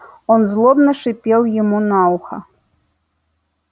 он злобно шипел ему на ухо